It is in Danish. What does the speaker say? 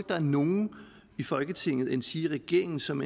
der er nogen i folketinget endsige regeringen som